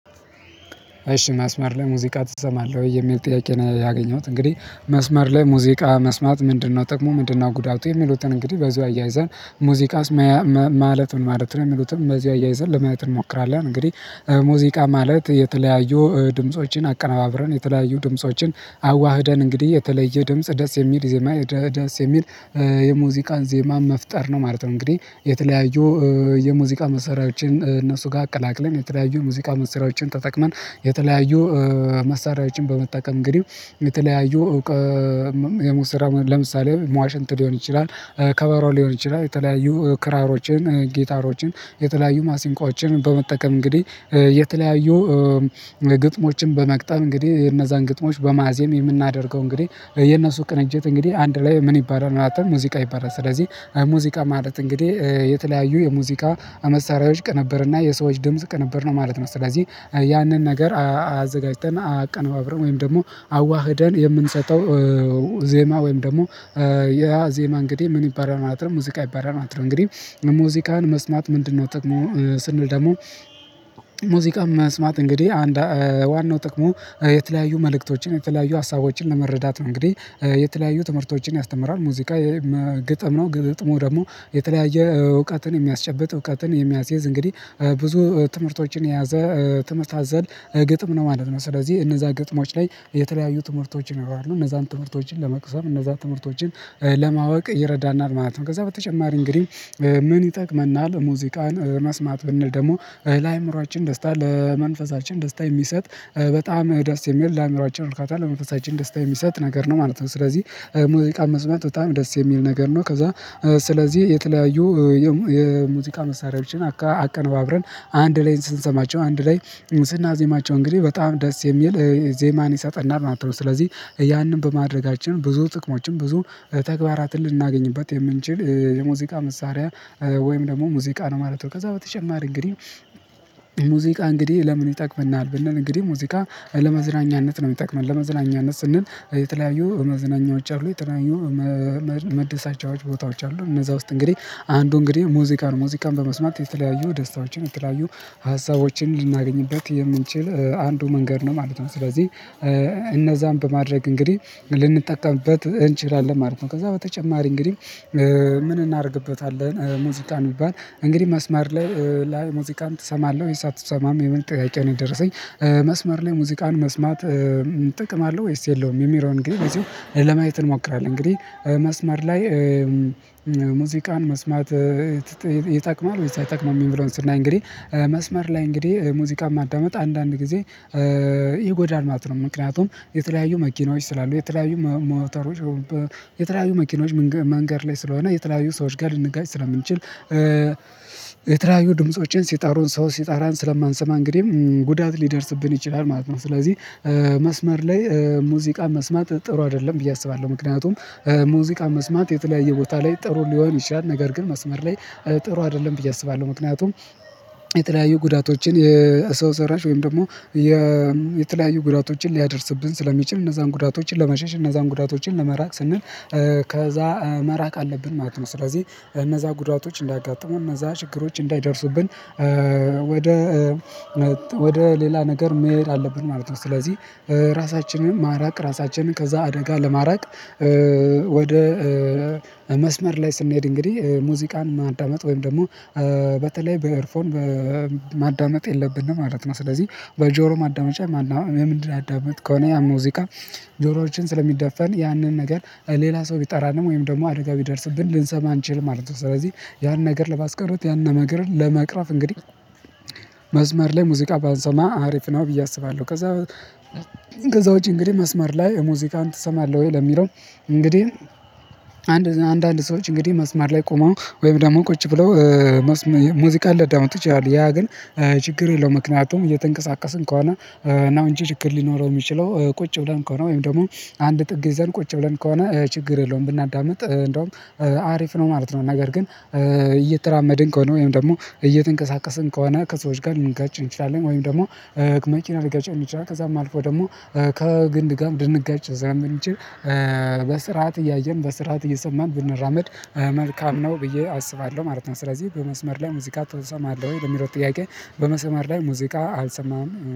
እሺ መስመር ላይ ሙዚቃ ትሰማለህ ወይ የሚል ጥያቄ ነው? ያገኘሁት እንግዲህ መስመር ላይ ሙዚቃ መስማት ምንድነው ጥቅሙ ምንድነው ጉዳቱ የሚሉትን እንግዲህ በዚሁ አያይዘን ሙዚቃ ማለት ምን ማለት ነው? የሚሉትን በዚህ አያይዘን ለማየት እንሞክራለን እንግዲህ ሙዚቃ ማለት የተለያዩ ድምፆችን አቀነባብረን የተለያዩ ድምፆችን አዋህደን እንግዲህ የተለየ ድምጽ ደስ የሚል ዜማ ደስ የሚል የሙዚቃ ዜማ መፍጠር ነው ማለት ነው። እንግዲህ የተለያዩ የሙዚቃ መሳሪያዎችን እነሱ ጋር አቀላቅለን የተለያዩ ሙዚቃ መሳሪያዎችን ተጠቅመን የተለያዩ መሳሪያዎችን በመጠቀም እንግዲህ የተለያዩ እውቀት የሚሰራው ለምሳሌ ዋሽንት ሊሆን ይችላል። ከበሮ ሊሆን ይችላል የተለያዩ ክራሮችን ጊታሮችን የተለያዩ ማሲንቆዎችን በመጠቀም እንግዲህ የተለያዩ ግጥሞችን በመግጠም እንግዲህ እነዛን ግጥሞች በማዜም የምናደርገው እንግዲህ የነሱ ቅንጅት እንግዲህ አንድ ላይ ምን ይባላል አጠቃላይ ሙዚቃ ይባላል ስለዚህ ሙዚቃ ማለት እንግዲህ የተለያዩ የሙዚቃ አመሳሪያዎች ቅንብርና የሰዎች ድምጽ ቅንብር ነው ማለት ነው። ስለዚህ ያንን ነገር አዘጋጅተን አቀነባብረን ወይም ደግሞ አዋህደን የምንሰጠው ዜማ ወይም ደግሞ ያ ዜማ እንግዲህ ምን ይባላል ማለትም ሙዚቃ ይባላል ማለት ነው። እንግዲህ ሙዚቃን መስማት ምንድነው ጥቅሙ ስንል ደግሞ ሙዚቃ መስማት እንግዲህ አንድ ዋናው ጥቅሙ የተለያዩ መልእክቶችን የተለያዩ ሀሳቦችን ለመረዳት ነው እንግዲህ የተለያዩ ትምህርቶችን ያስተምራል ሙዚቃ ግጥም ነው ግጥሙ ደግሞ የተለያየ እውቀትን የሚያስጨብጥ እውቀትን የሚያስየዝ እንግዲህ ብዙ ትምህርቶችን የያዘ ትምህርት አዘል ግጥም ነው ማለት ነው። ስለዚህ እነዛ ግጥሞች ላይ የተለያዩ ትምህርቶችን ይኖራሉ እነዛን ትምህርቶችን ለመቅሰም እነዛን ትምህርቶችን ለማወቅ ይረዳናል ማለት ነው። ከዛ በተጨማሪ እንግዲህ ምን ይጠቅመናል ሙዚቃን መስማት ብንል ደግሞ ለአእምሮአችን ደስታ ለመንፈሳችን ደስታ የሚሰጥ በጣም ደስ የሚል ለአእምሮአችን እርካታ ለመንፈሳችን ደስታ የሚሰጥ ነገር ነው ማለት ነው። ስለዚህ ሙዚቃ መስማት በጣም ደስ የሚል ነገር ነው ከዛ ስለዚህ የተለያዩ የሙዚቃ መሳሪያዎችን አቀነባብረን አንድ ላይ ስንሰማቸው አንድ ላይ ስናዜማቸው እንግዲህ በጣም ደስ የሚል ዜማን ይሰጠናል ማለት ነው ስለዚህ ያንን በማድረጋችን ብዙ ጥቅሞችን ብዙ ተግባራትን ልናገኝበት የምንችል የሙዚቃ መሳሪያ ወይም ደግሞ ሙዚቃ ነው ማለት ነው። ከዛ በተጨማሪ እንግዲህ ሙዚቃ እንግዲህ ለምን ይጠቅመናል ብንል እንግዲህ ሙዚቃ ለመዝናኛነት ነው የሚጠቅመን ለመዝናኛነት ስንል የተለያዩ መዝናኛዎች አሉ የተለያዩ መደሰቻዎች ቦታዎች አሉ እነዛ ውስጥ እንግዲህ አንዱ እንግዲህ ሙዚቃ ነው ሙዚቃን በመስማት የተለያዩ ደስታዎችን የተለያዩ ሀሳቦችን ልናገኝበት የምንችል አንዱ መንገድ ነው ማለት ነው ስለዚህ እነዛን በማድረግ እንግዲህ ልንጠቀምበት እንችላለን ማለት ነው። ከዛ በተጨማሪ እንግዲህ ምን እናደርግበታለን ሙዚቃን ቢባል እንግዲህ መስመር ላይ ሙዚቃን ትሰማለህ ወይስ አትሰማም የሚል ጥያቄ ነው? የደረሰኝ መስመር ላይ ሙዚቃን መስማት ጥቅም አለው ወይስ የለውም የሚለው ግን በዚሁ ለማየት እንሞክራለን። እንግዲህ መስመር ላይ ሙዚቃን መስማት ይጠቅማል ወይስ አይጠቅምም? የሚለውን ስናይ እንግዲህ መስመር ላይ እንግዲህ ሙዚቃ ማዳመጥ አንዳንድ ጊዜ ይጎዳል ማለት ነው። ምክንያቱም የተለያዩ መኪናዎች ስላሉ የተለያዩ ሞተሮች የተለያዩ መኪኖች መንገድ ላይ ስለሆነ የተለያዩ ሰዎች ጋር ልንጋጭ ስለምንችል የተለያዩ ድምፆችን ሲጣሩን ሰው ሲጠራን ስለማንሰማ እንግዲህ ጉዳት ሊደርስብን ይችላል ማለት ነው። ስለዚህ መስመር ላይ ሙዚቃ መስማት ጥሩ አይደለም ብዬ አስባለሁ ምክንያቱም ሙዚቃ መስማት የተለያየ ቦታ ላይ ጥሩ ሊሆን ይችላል ነገር ግን መስመር ላይ ጥሩ አይደለም ብዬ አስባለሁ። ምክንያቱም የተለያዩ ጉዳቶችን የሰው ሰራሽ ወይም ደግሞ የተለያዩ ጉዳቶችን ሊያደርስብን ስለሚችል እነዛን ጉዳቶችን ለመሸሽ እነዛን ጉዳቶችን ለመራቅ ስንል ከዛ መራቅ አለብን ማለት ነው። ስለዚህ እነዛ ጉዳቶች እንዳያጋጥመን እነዛ ችግሮች እንዳይደርሱብን ወደ ወደ ሌላ ነገር መሄድ አለብን ማለት ነው። ስለዚህ ራሳችንን ማራቅ ራሳችንን ከዛ አደጋ ለማራቅ ወደ መስመር ላይ ስንሄድ እንግዲህ ሙዚቃን ማዳመጥ ወይም ደግሞ በተለይ በኤርፎን ማዳመጥ የለብንም ማለት ነው። ስለዚህ በጆሮ ማዳመጫ ማንኛውም የምናዳምጥ ከሆነ ያን ሙዚቃ ጆሮዎችን ስለሚደፈን ያንን ነገር ሌላ ሰው ቢጠራንም ወይም ደግሞ አደጋ ቢደርስብን ልንሰማ አንችልም ማለት ነው። ስለዚህ ያን ነገር ለማስቀረት ያንን ነገርን ለመቅረፍ እንግዲህ መዝመር ላይ ሙዚቃ ባንሰማ አሪፍ ነው ብዬ አስባለሁ። ከዛ ውጪ እንግዲህ መስመር ላይ ሙዚቃን ትሰማለህ ወይ ለሚለው እንግዲህ አንድ አንዳንድ ሰዎች እንግዲህ መስመር ላይ ቆመው ወይም ደግሞ ቁጭ ብለው ሙዚቃን ሊያዳምጡ ይችላል ያ ግን ችግር የለውም። ምክንያቱም እየተንቀሳቀስን ከሆነ ነው እንጂ ችግር ሊኖረው የሚችለው ቁጭ ብለን ከሆነ ወይም ደግሞ አንድ ጥግ ይዘን ቁጭ ብለን ከሆነ ችግር የለውም ብናዳምጥ እንደውም አሪፍ ነው ማለት ነው። ነገር ግን እየተራመድን ከሆነ ወይም ደግሞ እየተንቀሳቀስን ከሆነ ከሰዎች ጋር ልንጋጭ እንችላለን ወይም ደግሞ መኪና ሊገጨን ይችላል። ከዛም አልፎ ደግሞ ከግንድ ጋር ልንጋጭ ስለምንችል በስርዓት እያየን በስርዓት እየሰማን ብንራመድ መልካም ነው ብዬ አስባለሁ ማለት ነው። ስለዚህ በመስመር ላይ ሙዚቃ ትሰማለህ ወይ ለሚለው? ጥያቄ በመስመር ላይ ሙዚቃ አልሰማም።